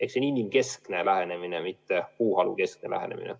See on inimkeskne lähenemine, mitte puuhalukeskne lähenemine.